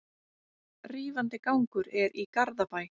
Rífandi gangur er í Garðabæ.